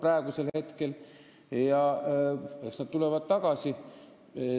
Eks nad lähevad ka tagasi.